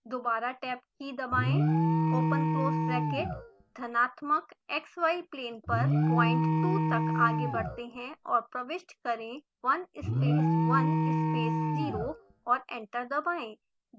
दोबारा tab की key दबाएं ओपन क्लोज़ ब्रैकेट धनात्मक xy प्लेन पर पॉइंट 2 तक आगे बढ़ते हैं और प्रविष्ट करें 1 space 1 space 0 और एंटर दबाएं